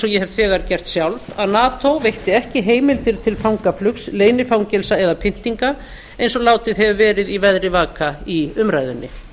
ég hef þegar gert sjálf að nato veitti ekki heimildir til fangaflugs leynifangelsa eða pyntinga eins og látið hefur verið í veðri vaka í umræðunni